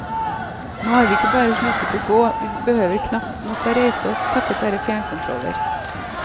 Nå har vi ikke bare sluttet å gå, vi behøver knapt nok å reise oss, takket være fjernkontroller.